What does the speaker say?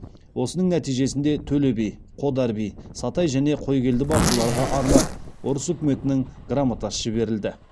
осының нәтижесінде төле би қодар би сатай және қойгелді батырларға арнап орыс үкіметінің грамотасы жіберілді